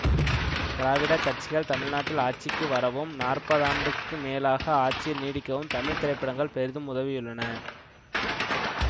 திராவிடக் கட்சிகள் தமிழ் நாட்டில் ஆட்சிக்கு வரவும் நாற்பதாண்டுக்கு மேலாக ஆட்சியில் நீடிக்கவும் தமிழ் திரைப்படங்கள் பெரிதும் உதவியுள்ளன